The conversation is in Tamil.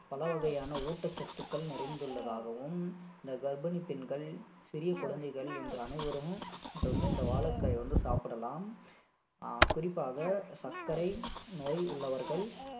பலவகையான ஊட்டச்சத்துக்கள் நிறைந்துள்ளதாகவும் இந்த கர்ப்பிணி பெண்கள் சிறிய குழந்தைகள் என்று அனைவரும் இது வந்து இந்த வாழைக்காய வந்து சாப்பிடலாம் குறிப்பாக சர்க்கரை நோய் உள்ளவர்கள்